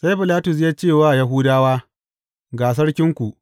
Sai Bilatus ya ce wa Yahudawa, Ga sarkinku.